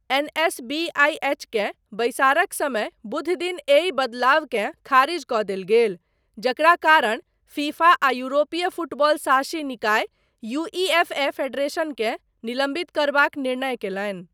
NSBIHK बैसारक समय बुधदिन एहि बदलावकेँ खारिज कऽ देल गेल, जकरा कारण फीफा आ यूरोपीय फुटबॉल शासी निकाय यूईएफए फेडरेशनकेँ निलम्बित करबाक निर्णय कयलनि।